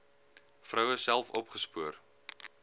vroue self opgespoor